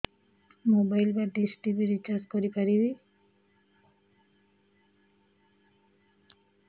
mobile ବା dish TV recharge କରି ପାରିବି